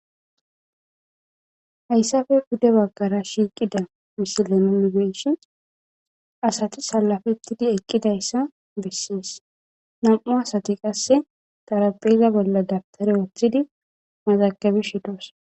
Hayssafe gude bagkara shiiqida misilemingeeshi asati salafettidi eqqidayssa bessees nam7u asati qasse tarabeyza bolla dabtare oothtidi mazakabi shidoos.